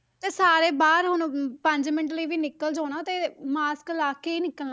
ਤੇ ਸਾਰੇ ਬਾਹਰ ਹੁਣ ਪੰਜ ਮਿੰਟ ਲਈ ਵੀ ਨਿਕਲ ਜਾਓ ਨਾ ਤੇ mask ਲਾ ਕੇ ਹੀ ਨਿਕਲਣਾ,